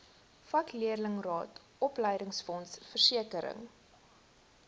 vakleerlingraad opleidingsfonds versekering